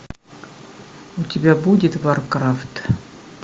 у тебя будет варкрафт